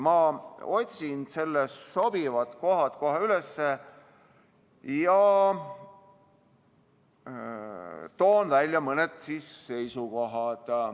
Ma otsin sobivad kohad kohe üles ja toon välja mõned seisukohad.